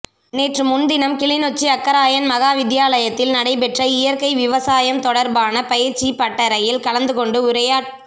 நேற்றுமுன்தினம் கிளிநொச்சி அக்கராயன் மகா வித்தியாலயத்தில் நடைபெற்ற இயற்கை விவசாயம் தொடர்பான பயிற்சிப் பட்டறையில் கலந்துகொண்டு உரையாற்